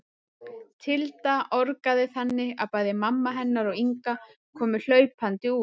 Tilda orgaði þannig að bæði mamma hennar og Inga komu hlaupandi út.